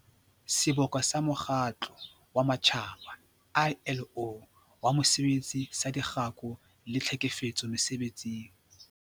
Seboka sa Mokgatlo wa Matjhaba, ILO, wa Mosebetsi saDikgako le Tlhekefetso Mese-betsing.